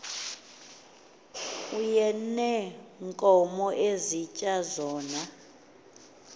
ayeneenkomo esitya zona